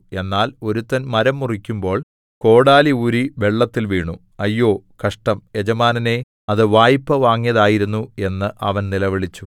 എന്നാൽ ഒരുത്തൻ മരം മുറിക്കുമ്പോൾ കോടാലി ഊരി വെള്ളത്തിൽ വീണു അയ്യോ കഷ്ടം യജമാനനേ അത് വായ്പ വാങ്ങിയതായിരുന്നു എന്ന് അവൻ നിലവിളിച്ചു